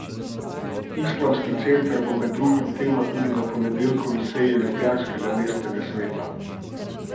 Islamski center bo med drugim tema tudi na ponedeljkovi seji ljubljanskega mestnega sveta.